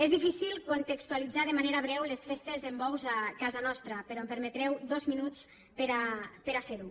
és difícil contextualitzar de manera breu les festes amb bous a casa nostra però em permetreu dos minuts per a fer ho